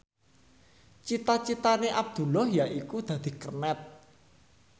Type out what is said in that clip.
cita citane Abdullah yaiku dadi kernet